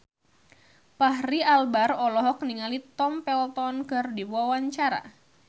Fachri Albar olohok ningali Tom Felton keur diwawancara